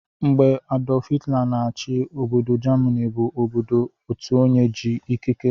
Mgbe Adulf hilter na-chi, Obodo Jamini bu obodo Otuonye ji ikike